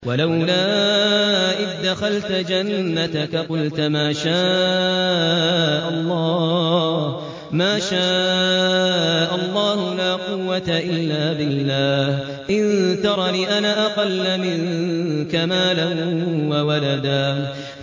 وَلَوْلَا إِذْ دَخَلْتَ جَنَّتَكَ قُلْتَ مَا شَاءَ اللَّهُ لَا قُوَّةَ إِلَّا بِاللَّهِ ۚ إِن تَرَنِ أَنَا أَقَلَّ مِنكَ مَالًا وَوَلَدًا